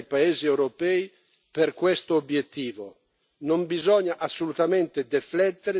e impegni tutti, a partire dai paesi europei, per questo obiettivo.